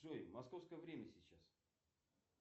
джой московское время сейчас